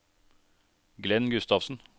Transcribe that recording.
Glenn Gustavsen